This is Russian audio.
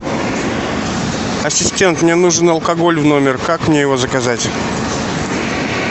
ассистент мне нужен алкоголь в номер как мне его заказать